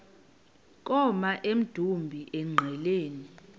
koma emdumbi engqeleni